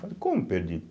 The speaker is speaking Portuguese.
Falei, como perdido?